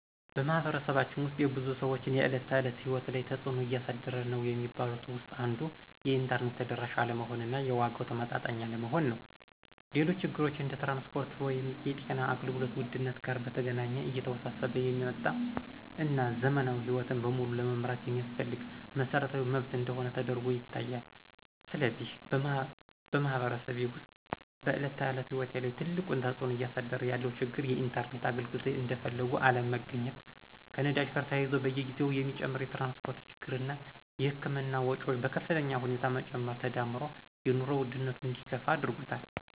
በማኅበረሰባችን ውስጥ የብዙ ሰዎች የዕለት ተዕለት ሕይወት ላይ ትጽእኖ እያሳደረ ነዉ የሚባሉት ውስጥ አንዱ የኢንተርኔት ተደራሽ አለመሆን እና የዋጋው ተመጣጣኝ አለመሆን ነው። ሌሎች ችግሮች እንደ ትራንስፖርት ወይም የጤና አገልግሎት ውድነት ጋር በተገናኘ እየተወሳሰበ የሚመጣ እና ዘመናዊ ሕይወትን በሙሉ ለመምራት የሚያስፈልግ መሰረታዊ መብት እንደሆነ ተደርጎ ይታያል። ስለዚህ በማኅበረሰቤ ውስጥ በዕለት ተዕለት ሕይወት ላይ ትልቁን ተጽዕኖ እያሳደረ ያለው ችግር የኢንተርኔት አገልግሎት እንደፈለጉ አለመገኘት፣ ከነዳጅ ጋር ተያይዞ በየጊዜው የሚጨምር የትራንስፖርት ችግር እና የህክምና ወጮች በከፍተኛ ሁኔታ መጨመር ተዳምሮ የኑሮ ውድነቱ እንዲከፋ አድርጎታል።